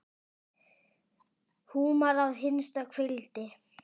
Húmar að hinsta kveldi.